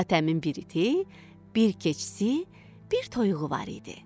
Hatəmin bir iti, bir keçisi, bir toyuğu var idi.